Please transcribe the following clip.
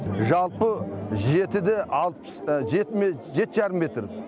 жалпы жеті де алпыс жеті ме жеті жарым метр